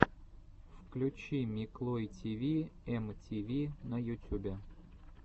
включи миклой тиви эм ти ви на ютюбе